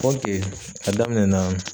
a daminɛ na